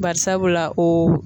Bari sabula o